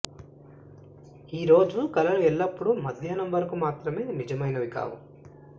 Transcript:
ఈ రోజు కలలు ఎల్లప్పుడూ మధ్యాహ్నం వరకు మాత్రమే నిజమైనవి కావు